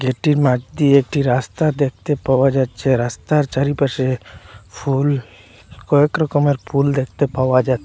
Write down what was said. গেটের মাঠ দিয়ে একটি রাস্তা দেখতে পাওয়া যাচ্ছে রাস্তার চারিপাশে ফুল কয়েক রকমের ফুল দেখতে পাওয়া যাচ্ছে।